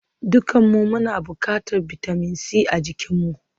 Dukanmu muna buƙatar bitamin C a jikinmu